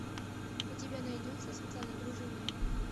у тебя найдется светлана дружинина